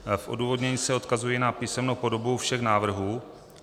V odůvodnění se odkazuji na písemnou podobu všech návrhů.